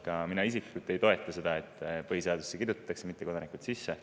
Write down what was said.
Ka mina isiklikult ei toeta seda, et põhiseadusesse kirjutatakse siin mittekodanikud sisse.